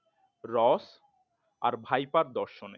রস আর ভাইপার দর্শনে।